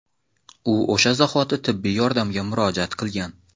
U o‘sha zahoti tibbiy yordamga murojaat qilgan.